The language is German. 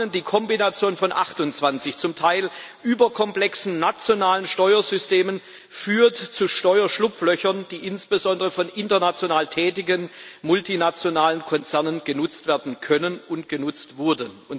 Zum einen Die Kombination von 28 zum Teil überkomplexen nationalen Steuersystemen führt zu Steuerschlupflöchern, die insbesondere von international tätigen multinationalen Konzernen genutzt werden können und genutzt wurden.